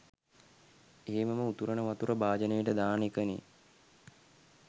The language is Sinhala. එහෙමම උතුරන වතුර භාජනෙට දාන එකනේ.